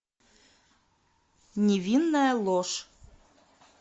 невинная ложь